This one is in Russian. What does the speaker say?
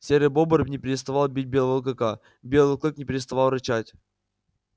серый бобр не переставал бить белого клыка белый клык не переставал рычать